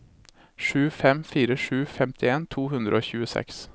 sju fem fire sju femtien to hundre og tjueseks